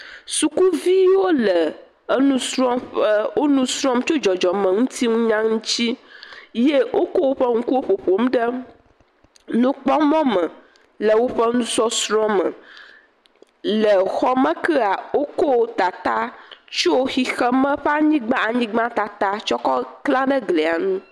Suku viwo le enu srɔm. Wòle enu srɔm tso dzɔdzɔmeŋutinunya ŋuti eye Wokɔ woƒe ŋkuwo ƒoƒom ɖe nukpɔmɔ me le woƒe nusɔsrɔ̃ŋuti. Le xɔme kea wokɔ tata kɔ tsyɔ xexeme ƒe anyigba, anyigba tata tsɔ kɔ kla nɛ eglia nu.